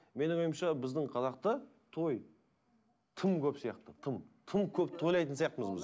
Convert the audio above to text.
менің ойымша біздің қазақта той тым көп сияқты тым тым көп тойлайтын сияқтымыз біз